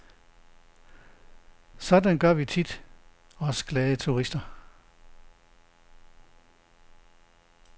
Sådan gør vi tit, os glade turister.